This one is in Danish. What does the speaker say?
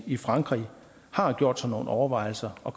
i frankrig har gjort sig nogle overvejelser og